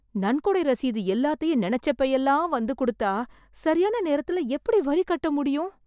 நன்கொடை ரசீது எல்லாத்தையும் நினைச்சப்ப எல்லாம் வந்து கொடுத்தா சரியான நேரத்தில எப்படி வரி கட்ட முடியும் ?